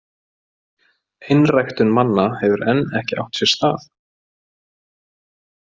Einræktun manna hefur enn ekki átt sér stað.